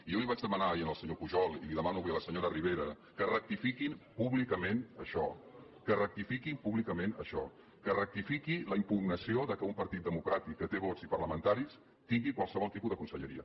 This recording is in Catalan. jo li vaig demanar ahir al senyor pujol i li ho demano avui a la senyora ribera que rectifiquin públicament això que rectifiquin públicament això que rectifiqui la impugnació que un partit democràtic que té vots i parlamentaris tingui qualsevol tipus de conselleria